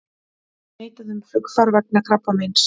Neitað um flugfar vegna krabbameins